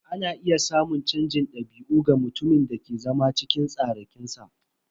Ana iya samun canjin dabi'u ga mutumin da ke zama cikin tsarakinsa.